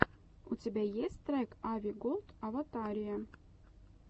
у тебя есть трек ави голд аватария